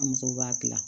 An musow b'a dilan